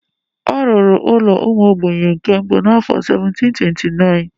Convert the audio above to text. A rụrụ ụlọ ụmụ ogbenye nke mbụ n'afọ 1729.